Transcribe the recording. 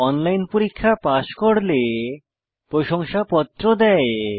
online পরীক্ষা pass করলে প্রশংসাপত্র দেয়